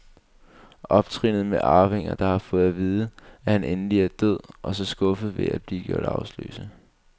Optrinnet med arvinger, der har fået at vide, at han endelig er død, og så skuffes ved at blive gjort arveløse.